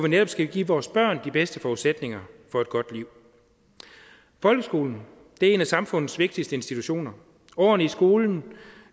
netop skal give vores børn de bedste forudsætninger for et godt liv folkeskolen er en af samfundets vigtigste institutioner årene i skolen